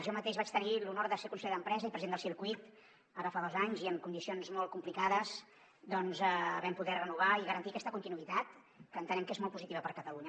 jo mateix vaig tenir l’honor de ser conseller d’empresa i president del circuit ara fa dos anys i en condicions molt complicades doncs vam poder renovar i garantir aquesta continuïtat que entenem que és molt positiva per a catalunya